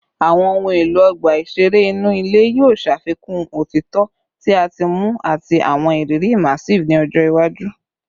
Awọn ohun elo ọgba iṣere inu ile yoo ṣafikun otitọ ti a ti muu ati awọn iriri immersive ni ọjọ iwaju